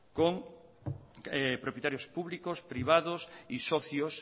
con propietarios públicos privados y socios